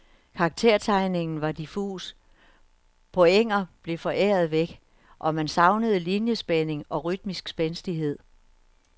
Karaktertegningen var diffus, pointer blev foræret væk, og man savnede liniespænding og rytmisk spændstighed.